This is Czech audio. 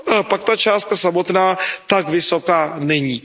pak ta částka samotná tak vysoká není.